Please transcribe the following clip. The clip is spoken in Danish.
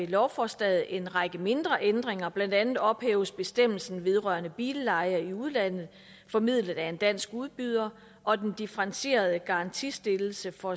lovforslaget en række mindre ændringer blandt andet ophæves bestemmelsen vedrørende billeje i udlandet formidlet af en dansk udbyder og den differentierede garantistillelse for